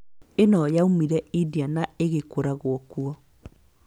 Ĩno yoimire India na ĩgĩkũragwo kuo